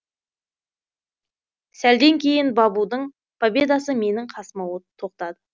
сәлден кейін бабудың победасы менің қасыма тоқтады